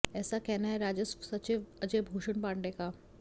ऐसा कहना है राजस्व सचिव अजय भूषण पांडे का